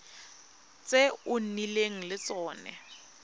tse o nnileng le tsone